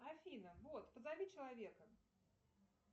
афина бот позови человека